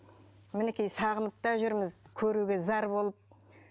мінекей сағынып та жүрміз көруге зар болып